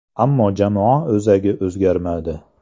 Ammo jamoa o‘zagi o‘zgarmadi.